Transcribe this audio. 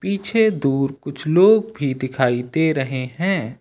पीछे दूर कुछ लोग भी दिखाई दे रहे हैं।